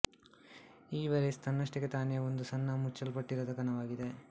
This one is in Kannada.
ಈ ವೈರಸ್ ತನ್ನಷ್ಟಕ್ಕೇ ತಾನೇ ಒಂದು ಸಣ್ಣ ಮುಚ್ಚಲ್ಪಟ್ಟಿರದ ಕಣವಾಗಿದೆ